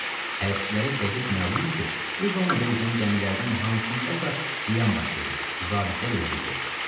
Amma hərbiçilərə dəqiq məlumdur ki, bu zonada üzən gəmilərdən hansındasa qiyam baş verib, zabitlər öldürülüb.